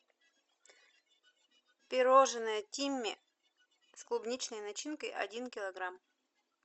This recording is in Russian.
пирожное тимми с клубничной начинкой один килограмм